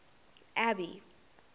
abby